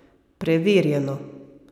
Preverjeno!